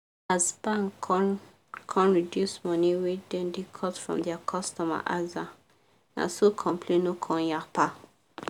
as bank come come reduce money wey dem da cut from dia cutomer aza na so complain no come yapa